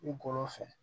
I golo fɛ